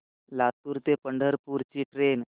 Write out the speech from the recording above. लातूर ते पंढरपूर ची ट्रेन